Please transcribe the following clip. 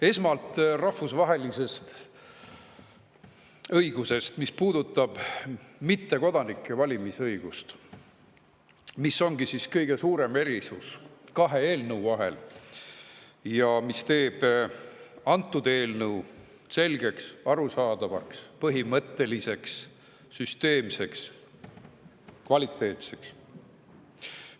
Esmalt rahvusvahelisest õigusest, mis puudutab mittekodanike valimisõigust ning seda, mis on kõige suurem erisus nende kahe eelnõu vahel ja teeb antud eelnõu selgeks, arusaadavaks, põhimõtteliseks, süsteemseks ja kvaliteetseks.